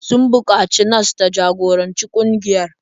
Sun buƙaci nas ta jagoranci ƙungiyar.